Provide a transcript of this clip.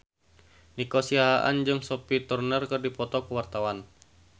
Nico Siahaan jeung Sophie Turner keur dipoto ku wartawan